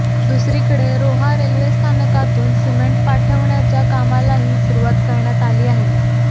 दुसरीकडे रोहा रेल्वे स्थानकातून सिमेंट पाठवण्याच्या कामालाही सुरुवात करण्यात आली आहे